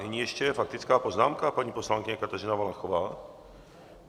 Nyní ještě faktická poznámka, paní poslankyně Kateřina Valachová.